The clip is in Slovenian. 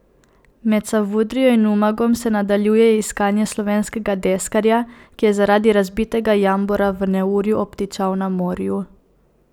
Med Savudrijo in Umagom se nadaljuje iskanje slovenskega deskarja, ki je zaradi razbitega jambora v neurju obtičal na morju.